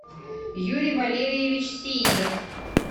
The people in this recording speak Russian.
юрий валерьевич сеидов